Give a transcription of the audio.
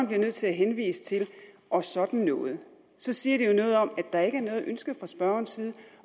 bliver nødt til at henvise til og sådan noget så siger det jo noget om at der ikke er noget ønske fra spørgerens side